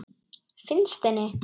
Finnst henni.